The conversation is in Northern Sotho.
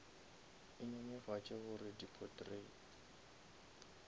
e nyenyefatše gore di potrait